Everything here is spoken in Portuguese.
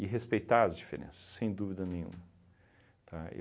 respeitar as diferenças, sem dúvida nenhuma, tá?